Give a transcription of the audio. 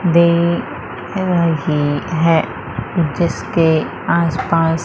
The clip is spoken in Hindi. देख रही हैं जिसके आस पास--